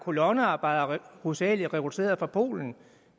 kolonnearbejdere hovedsageligt rekrutteret fra polen